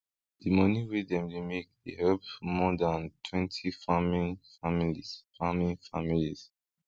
di money wey dem dey make dey help more than twenty farming families farming families